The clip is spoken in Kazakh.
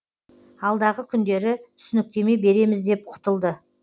алдағы күндері түсініктеме береміз деп құтылды